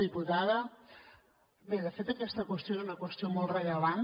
diputada bé de fet aquesta qüestió és una qüestió molt rellevant